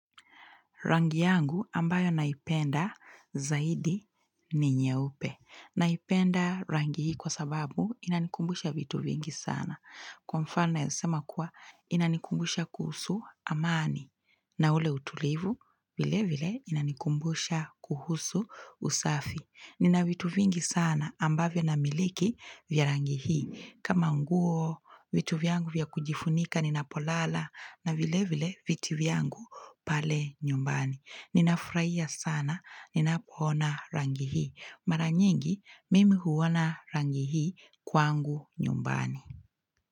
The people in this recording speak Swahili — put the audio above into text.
Rangi yangu ambayo naipenda zaidi ni nyeupe. Naipenda rangi hii kwa sababu inanikumbusha vitu vingi sana. Kwa mfano nawezasema kuwa inanikumbusha kuhusu amani. Na ule utulivu, vile vile inanikumbusha kuhusu usafi. Nina vitu vingi sana ambavyo namiliki vya rangi hii. Kama nguo, vitu vyangu vya kujifunika, ninapolala na vile vile viti vyangu pale nyumbani. Ninafurahia sana, ninapoona rangi hii. Mara nyingi, mimi huona rangi hii kwangu nyumbani.